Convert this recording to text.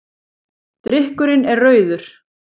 Drykkurinn er rauður.